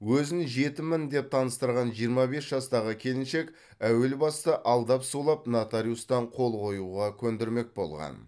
өзін жетіммін деп таныстырған жиырма бес жастағы келіншек әуел баста алдап сулап нотариустан қол қоюға көндірмек болған